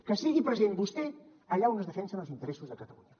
que sigui present vostè allà on es defensen els interessos de catalunya